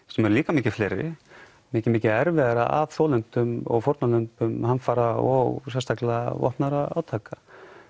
sem eru líka mikið fleiri mikið mikið erfiðara af þolendum og fórnarlömbum hamfara og sérstaklega vopnaðra átaka